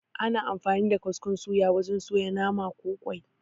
Ana amfani da kaskon suya wajen suya nama, ko ƙwai